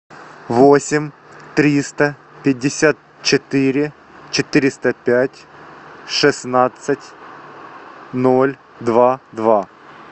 восемь триста пятьдесят четыре четыреста пять шестнадцать ноль два два